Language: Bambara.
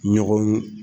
Ɲɔgɔn